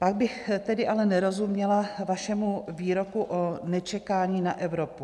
Pak bych tedy ale nerozuměla vašemu výroku o nečekání na Evropu.